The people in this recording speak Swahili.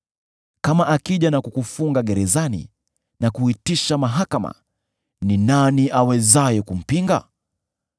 “Kama akija na kukufunga gerezani, na kuitisha mahakama, ni nani awezaye kumpinga?